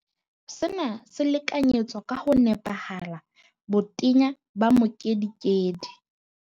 Sena se lekanyetsa ka ho nepahala botenya ba mokedikedi